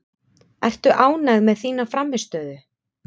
Ertu ánægð með þína frammistöðu?